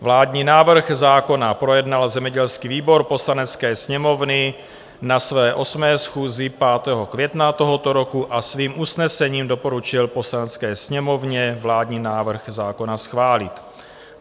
Vládní návrh zákona projednal zemědělský výbor Poslanecké sněmovny na své 8. schůzi 5. května tohoto roku a svým usnesením doporučil Poslanecké sněmovně vládní návrh zákona schválit.